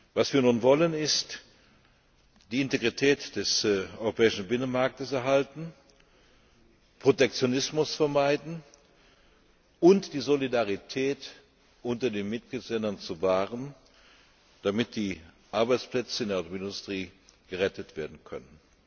Was wir nun wollen, ist die Integrität des europäischen Binnenmarkts erhalten, Protektionismus vermeiden und die Solidarität unter den Mitgliedstaaten wahren, damit die Arbeitsplätze in der Automobilindustrie gerettet werden können.